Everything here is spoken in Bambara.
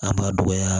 An ma dɔgɔya